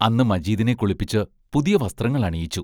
അന്ന് മജീദിനെ കുളിപ്പിച്ച് പുതിയ വസ്ത്രങ്ങൾ അണിയിച്ചു.